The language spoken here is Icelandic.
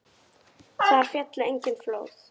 Þar féllu engin flóð.